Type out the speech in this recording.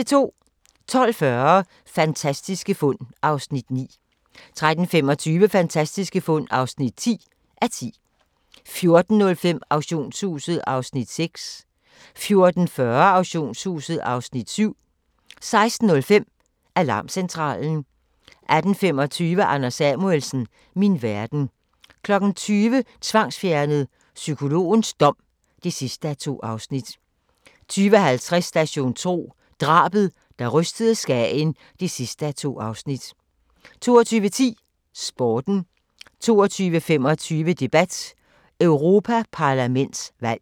12:40: Fantastiske fund (9:10) 13:25: Fantastiske fund (10:10) 14:05: Auktionshuset (Afs. 6) 14:40: Auktionshuset (Afs. 7) 16:05: Alarmcentralen 18:25: Anders Samuelsen - min verden 20:00: Tvangsfjernet: Psykologens dom (2:2) 20:50: Station 2: Drabet, der rystede Skagen (2:2) 22:10: Sporten 22:25: Debat: Europaparlamentsvalg